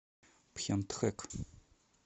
пхентхэк